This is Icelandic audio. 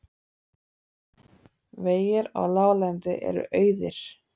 Vegir á láglendi eru auðir